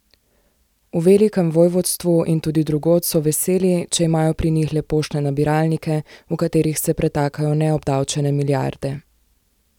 V velikem vojvodstvu in tudi drugod so veseli, če imajo pri njih le poštne nabiralnike, v katerih se pretakajo neobdavčene milijarde.